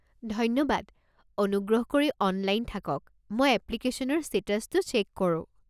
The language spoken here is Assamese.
ধন্যবাদ, অনুগ্ৰহ কৰি অনলাইন থাকক, মই এপ্লিকেশ্যনৰ ষ্টেটাছটো চেক কৰোঁ।